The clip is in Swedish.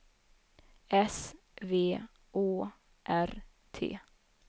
S V Å R T